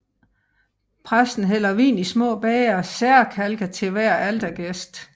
Præsten hælder vin i små bægre særkalke til hver altergæst